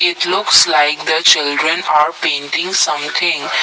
it looks like the children are painting something.